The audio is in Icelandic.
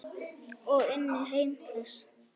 Og inn í heim þess.